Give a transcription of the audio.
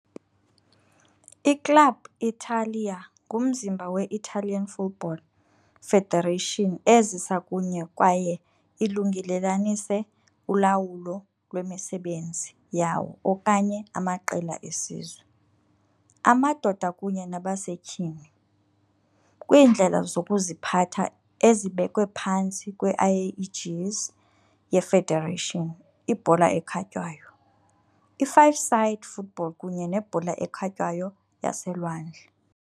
I-Club Italia ngumzimba we- Italian Football Federation ezisa kunye kwaye ilungelelanise ulawulo lwemisebenzi yawo onke amaqela esizwe, amadoda kunye nabasetyhini, kwiindlela zokuziphatha ezibekwe phantsi kwe-aegis ye-federation, ibhola ekhatywayo, i-five-side football kunye nebhola ekhatywayo yaselwandle.